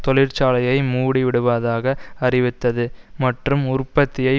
தொழிற்சாலையை மூடிவிடுவதாக அறிவித்தது மற்றும் உற்பத்தியை